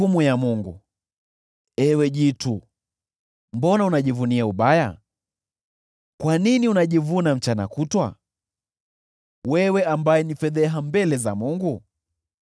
Ewe jitu, mbona unajivunia ubaya? Kwa nini unajivuna mchana kutwa, wewe ambaye ni fedheha mbele za Mungu?